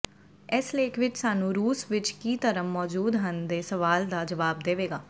ਇਸ ਲੇਖ ਵਿਚ ਸਾਨੂੰ ਰੂਸ ਵਿਚ ਕੀ ਧਰਮ ਮੌਜੂਦ ਹਨ ਦੇ ਸਵਾਲ ਦਾ ਜਵਾਬ ਦੇਵੇਗਾ